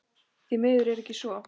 Því miður er ekki svo.